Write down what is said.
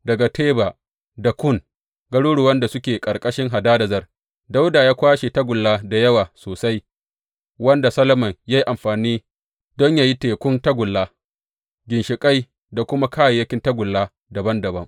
Daga Teba da Kun, garuruwan da suke ƙarƙashin Hadadezer, Dawuda ya kwashe tagulla da yawa sosai, wanda Solomon ya yi amfani don yă yi Tekun tagulla, ginshiƙai da kuma kayayyakin tagulla dabam dabam.